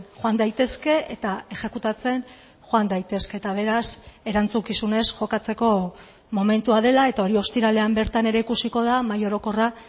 joan daitezke eta exekutatzen joan daitezke eta beraz erantzukizunez jokatzeko momentua dela eta hori ostiralean bertan ere ikusiko da mahai orokorra